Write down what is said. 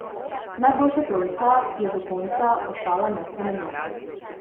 Najboljša trojka je do konca ostala nespremenjena.